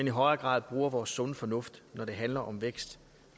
i højere grad bruger vores sunde fornuft når det handler om vækst